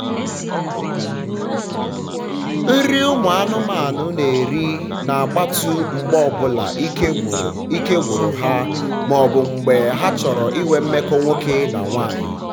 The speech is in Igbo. nri ụmụ anụmanụ na eri na gbatu mgbe ọbụla ike gwụru ike gwụru ha ma ọbụ mgbe ha chọrọ ịnwe mmekọ nwoke na nwanyi